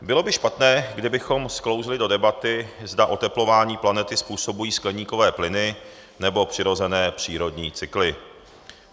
Bylo by špatné, kdybychom sklouzli do debaty, zda oteplování planety způsobují skleníkové plyny, nebo přirozené přírodní cykly.